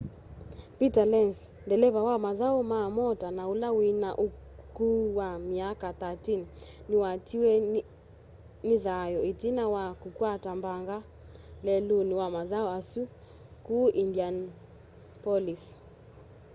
peter lenz ndeleva wa mathau ma mota na ula wina ukuu wa myaka 13 niwatiwa ni thayu itina wa kukwata mbanga leluni wa mathau asu ku indianapolis